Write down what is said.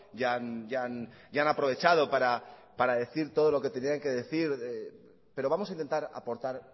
ya han aprovechado para decir todo lo que tenían que decir pero vamos a intentar aportar